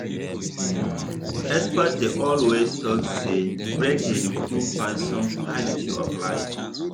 experts dey always talk say break dey improve person quality of life.